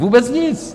Vůbec nic.